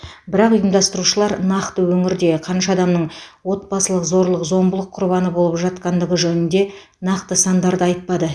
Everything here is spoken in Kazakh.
бірақ ұйымдастырушылар нақты өңірде қанша адамның отбасылық зорлық зомбылық құрбаны болып жатқандығы жөнінде нақты сандарды айтпады